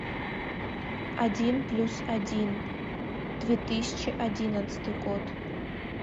один плюс один две тысячи одиннадцатый год